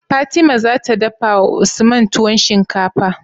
Fatima zata dafawa usman tuwon shinkafar?